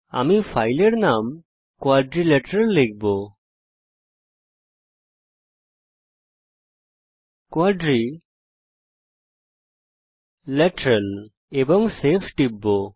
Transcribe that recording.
আমি ফাইলের নাম কোয়াড্রিলেটারাল লিখব এবং সেভ বাটনে টিপব